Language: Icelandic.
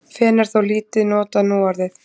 fen er þó lítið notað núorðið